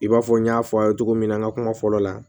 I b'a fɔ n y'a fɔ a ye cogo min na n ka kuma fɔlɔ la